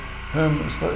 höfum